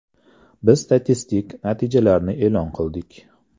Biz statistik natijalarni e’lon qildik.